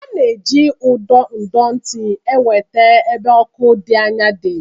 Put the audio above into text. A na-eji ụdọ ndọtị enweta ebe ọkụ dị́ anya dị̀.